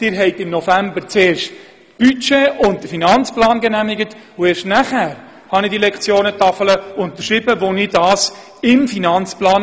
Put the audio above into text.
Sie haben im November zuerst das Budget und den Finanzplan genehmigt und erst danach, als dies im Aufgaben-/Finanzplan so festgelegt und beschlossen war, unterschrieb ich den Beschluss über die Lektionentafel.